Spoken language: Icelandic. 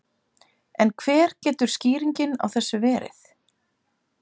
En hver getur skýringin á þessu verið?